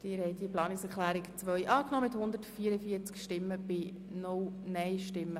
Sie haben diese Planungserklärung einstimmig angenommen.